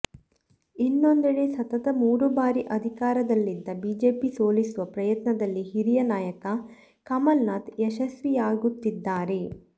ಇನ್ನೊಂದೆಡೆ ಸತತ ಮೂರು ಬಾರಿ ಅಧಿಕಾರದಲ್ಲಿದ್ದ ಬಿಜೆಪಿ ಸೋಲಿಸುವ ಪ್ರಯತ್ನದಲ್ಲಿ ಹಿರಿಯ ನಾಯಕ ಕಮಲ್ನಾಥ್ ಯಶಸ್ವಿಯಾಗುತ್ತಿದ್ದಾರೆ